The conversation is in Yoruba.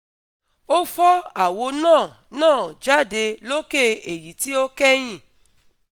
Ó fọ́ àwo náà náà jáde lókè èyí tí ó kẹ́yìn